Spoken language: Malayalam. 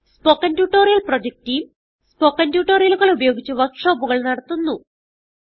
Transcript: spoken tutorial project team spoken ട്യൂട്ടോറിയലുകൾ ഉപയോഗിച്ച് വർക്ക് ഷോപ്പുകൾ നടത്തുന്നു